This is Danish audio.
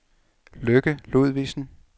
Lykke Ludvigsen